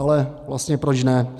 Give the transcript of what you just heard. Ale vlastně proč ne.